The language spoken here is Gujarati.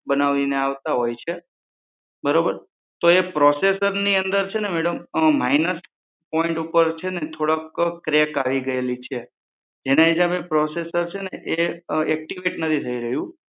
બનાવીને આવતા હોઈ છે બરોબર તો એ પ્ની processor અંદર છે ને madam માઇનોર પોઈન્ટ ઉપર છે ને ક્રેક આવી ગઈ છે જેના હિસાબે processor એક્ટીવેટ નથી થઇ રહ્યું.